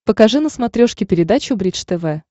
покажи на смотрешке передачу бридж тв